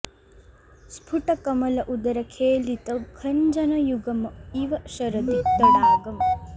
स्फुट कमल उदर खेलित खंजन युगम् इव शरदि तडागम्